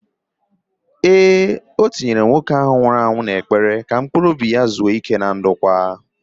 Ee, ọ na-etinye nwoke ahụ nwụrụ anwụ n'ekpere ka mkpuruobi ya zuo íké na ndokwa